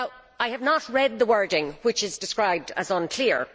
I have not read the wording, which is described as unclear